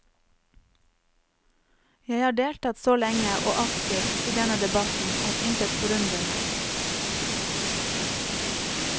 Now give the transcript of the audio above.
Jeg har deltatt så lenge og aktivt i denne debatten at intet forundrer meg.